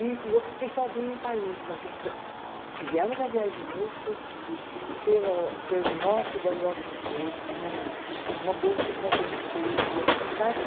E e eu fiquei sozinha em Paris, mas fizemos a viagem de núpcias pela, pelo o norte da Europa inteira, com uma conversível, sabe?